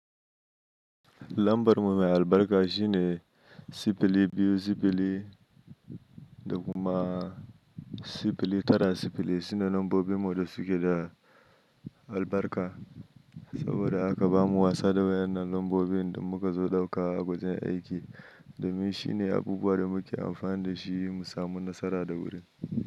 Lambar mu mai albarka shine sifili biyu sifili da kuma sifili tara sifili. Sune lambobin mu da suke da albarka. Saboda haka bamu wasa da waɗannan lambobin in muka zo ɗauka a wajen aiki, domin shine abubuwan da muke amfani da shi mu samu nasara da wuri.